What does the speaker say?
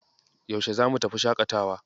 Yaushe zamu tafi shaƙatawa?